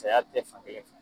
Saya tɛ fankelen fɛ.